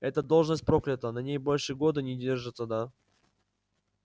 эта должность проклята на ней больше года не держатся да